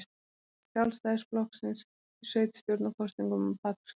Sjálfstæðisflokksins í sveitarstjórnarkosningum á Patreksfirði.